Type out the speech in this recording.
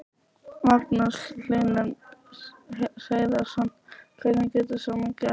Magnús Hlynur Hreiðarsson: Hvernig getur svona gerst?